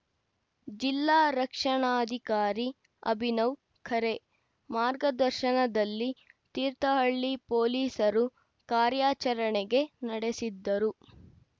ಜಿಲ್ಲಾ ರಕ್ಷಣಾಧಿಕಾರಿ ಅಭಿನವ್‌ ಖರೆ ಮಾರ್ಗದರ್ಶನದಲ್ಲಿ ತೀರ್ಥಹಳ್ಳಿ ಪೊಲೀಸರು ಕಾರ್ಯಾಚರಣೆಗೆ ನಡೆಸಿದ್ದರು